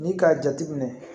Ni k'a jate minɛ